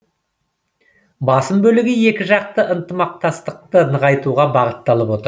басым бөлігі екіжақты ынтымақтастықты нығайтуға бағытталып отыр